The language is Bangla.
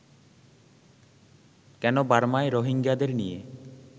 কেন বার্মায় রোহিঙ্গাদের নিয়ে